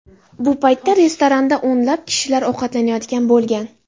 Bu paytda restoranda o‘nlab kishilar ovqatlanayotgan bo‘lgan.